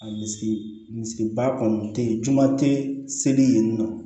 A misi misiba kɔni te ye juman te seli yen nɔ